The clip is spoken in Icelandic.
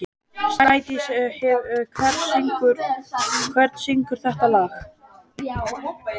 Snædís, hver syngur þetta lag?